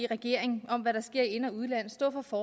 regeringen om hvad der sker i ind og udland og stå for